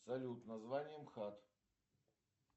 салют название мхат